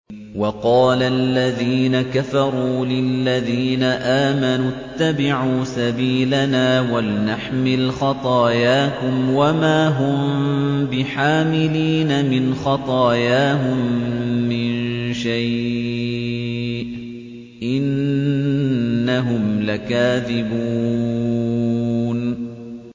وَقَالَ الَّذِينَ كَفَرُوا لِلَّذِينَ آمَنُوا اتَّبِعُوا سَبِيلَنَا وَلْنَحْمِلْ خَطَايَاكُمْ وَمَا هُم بِحَامِلِينَ مِنْ خَطَايَاهُم مِّن شَيْءٍ ۖ إِنَّهُمْ لَكَاذِبُونَ